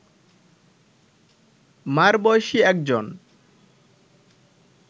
মা’র বয়সী একজন